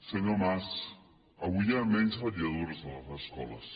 senyor mas avui hi ha menys vetlladores a les escoles